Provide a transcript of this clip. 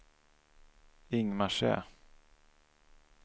Ingmarsö